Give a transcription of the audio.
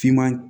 Siman